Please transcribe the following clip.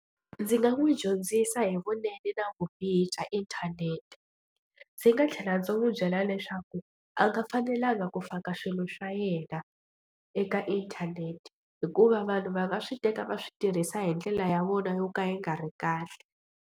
Ndzi nga n'wi dyondzisa hi vunene na vubihi bya inthanete. Ndzi nga tlhela ndzi n'wi byela leswaku a nga fanelanga ku faka swilo swa yena eka inthanete hikuva vanhu va nga swi teka va swi tirhisa hi ndlela ya vona yo ka yi nga ri kahle.